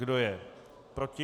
Kdo je proti?